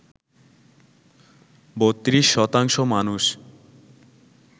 ৩২ শতাংশ মানুষ